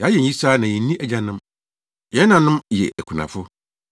Yɛayɛ nyisaa na yenni agyanom, yɛn nanom yɛ akunafo.